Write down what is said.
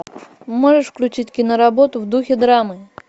можешь включить киноработу в духе драмы